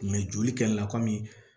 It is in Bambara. joli kɛlila kɔmi